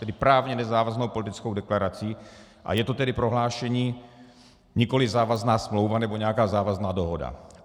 Tedy právně nezávaznou politickou deklarací, a je to tedy prohlášení, nikoliv závazná smlouva nebo nějaká závazná dohoda.